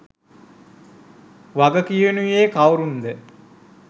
වගකියනුයේ කවුරුන්ද